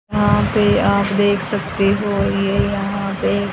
यहां पे आप देख सकते हो ये यहां पे--